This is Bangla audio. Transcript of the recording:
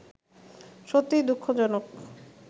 সত্যিই দুঃখজনক